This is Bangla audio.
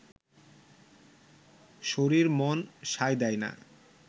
শরীর মন সায় দেয় না